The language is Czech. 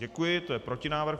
Děkuji, to je protinávrh.